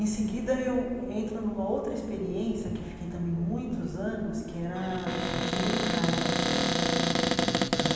Em seguida, eu entro numa outra experiência, que eu fiquei também muitos anos, que era ser bancária.